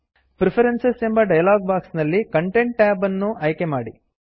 preferences preferences ಎಂಬ dialog box ನಲ್ಲಿ content content tab ಅನ್ನು ಆಯ್ಕೆ ಮಾಡಿ